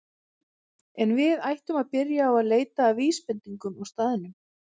En við ættum að byrja á að leita að vísbendingum á staðnum.